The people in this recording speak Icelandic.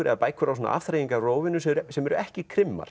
eða bækur á svona sem eru ekki